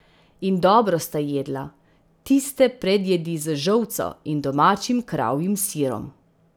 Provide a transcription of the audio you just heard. In dobro sta jedla, tiste predjedi z žolco in domačim kravjim sirom.